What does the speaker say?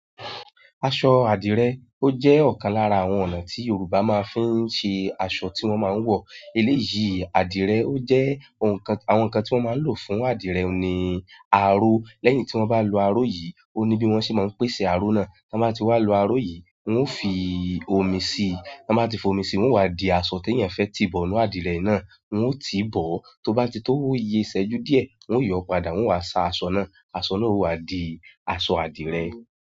Aṣọ adìrẹ, ó jẹ́ ọ̀kan lára àwọn ọ̀nà tí Yorùbá máa ń fi ṣe aṣọ tí wọ́n máa ń wọ̀. Eléyìí adìrẹ ó jẹ́ àwọn nǹkan tí wọ́n máa ń lò fún adìrẹ ni aró. Lẹ́yìn tí wọ́n bá lo aró yìí, ó ní bí wọ́n ṣe máa ń pèsè aró náà. Tí wọ́n bá ti wá lo aró yìí, wọn ó fi omi si. Tí wọ́n bá ti fi omi síi, wọn wá di aṣọ ti eyan fẹ́ ti bọ̀ ní adìrẹ náà, wọ ó ti bọ̀. Tó bá ti tó wuyé ṣẹ́jú díẹ̀, wọn yóò padà wá sa aṣọ náà. Aṣọ náà ó wá di aṣọ adìrẹ.